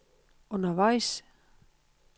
undervejs